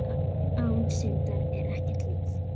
Án syndar er ekkert líf.